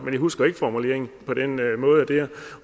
jeg husker ikke formuleringen på den måde der